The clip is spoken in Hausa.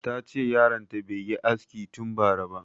Ta ce yaron ta bai yi aski tun bara ba